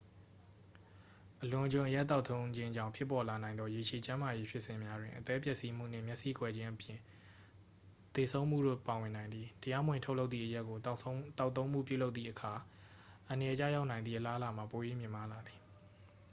အလွန်အကျွံအရက်သောက်သုံးခြင်းကြောင့် ပေါ်ပေါက်လာနိုင်သော ရေရှည်ကျန်းမာရေးဖြစ်စဉ်များတွင် အသည်းပျက်စီးမှုနှင့် မျက်စိကွယ်ခြင်းအပြင် သေဆုံးမှုတို့ ပါဝင်နိုင်သည် တရားမဝင်ထုတ်လုပ်သည့် အရက်ကို သောက်သုံးမှုပြုလုပ်သည့်အခါ အန္တရာယ်ကျရောက်နိုင်သည့် အလားအလာမှာ ပို၍ မြင့်မားလာသည်